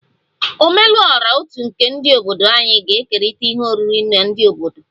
Ome lu ora otu nke obodo anyị ga-ekerịta ihe oriri na ndị obodo